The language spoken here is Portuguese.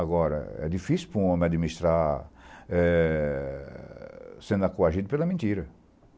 Agora, é difícil para um homem administrar eh sendo coagido pela mentira.